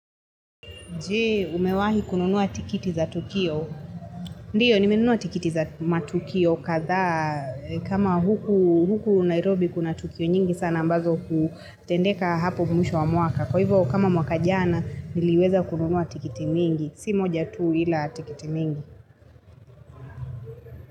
Jee, umewahi kununua tikiti za tukio. Ndio, nimenunua tikiti za matukio kadha kama huku Nairobi kuna Tukio nyingi sana ambazo kutendeka hapo mwisho wa mwaka. Kwa hivo kama mwaka jana, niliweza kununua tikiti mingi. Si moja tuu ila tikiti mingi.